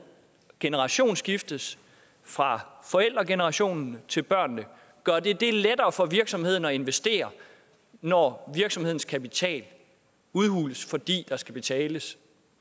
generationsskiftes fra forældregenerationen til børnene gør det det lettere for virksomheden at investere når virksomhedens kapital udhules fordi der skal betales